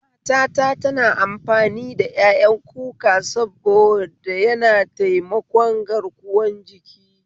Matata tana amfani ƴaƴan kuka saboda yana taimakon garkuwan jiki